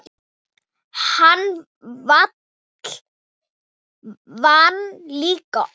Hann vann líka oftast.